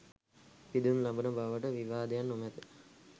පිදුම් ලබන බවට විවාදයක් නොමැත.